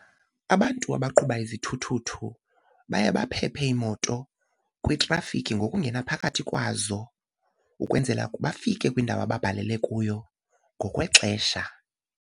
Abantu abaqhuba izithuthuthu baye baphephe iimoto kwitrafikhi ngokungena phakathi kwazo ukwenzela bafike kwindawo ababhalele kuyo ngokwexesha.